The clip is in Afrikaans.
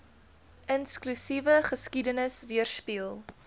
inklusiewe geskiedenis weerspieël